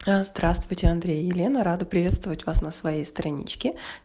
здравствуйте андрей елена рада приветствовать вас на своей страничке